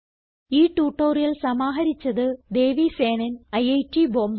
ഈ ട്യൂട്ടോറിയൽ സമാഹരിച്ചത് ദേവി സേനൻ ഐറ്റ് ബോംബേ